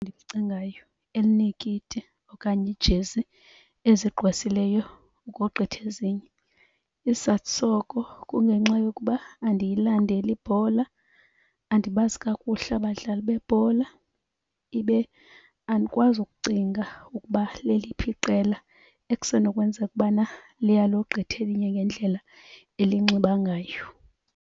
ndilicingayo elineekiti okanye iijezi ezigqwesileyo ukogqitha ezinye. Isizathu soko kungenxa yokuba andiyilandeli ibhola, andibazi kakuhle abadlali bebhola, ibe andikwazi ukucinga ukuba leliphi iqela ekusenokwenzeka ubana liyalogqitha elinye ngendlela elinxiba ngayo.